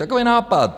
Takový nápad.